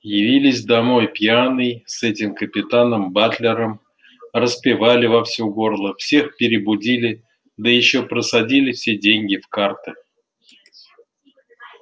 явились домой пьяный с этим капитаном батлером распевали во все горло всех перебудили да ещё просадили все деньги в карты